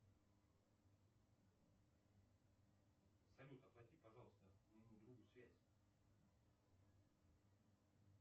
салют оплати пожалуйста моему другу связь